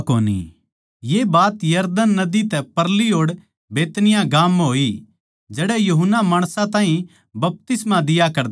ये बात यरदन नदी तै परली ओड़ बैतनिय्याह गाम म्ह होई जडै़ यूहन्ना माणसां ताहीं बपतिस्मा दिया करदा